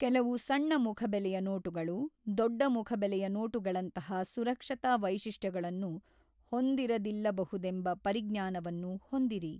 ಕೆಲವು ಸಣ್ಣ ಮುಖಬೆಲೆಯ ನೋಟುಗಳು ದೊಡ್ಡ ಮುಖಬೆಲೆಯ ನೋಟುಗಳಂತಹ ಸುರಕ್ಷತಾ ವೈಶಿಷ್ಟ್ಯಗಳನ್ನು ಹೊಂದಿರದಿಲ್ಲಬಹುದೆಂಬ ಪರಿಜ್ಞಾನವನ್ನು ಹೊಂದಿರಿ.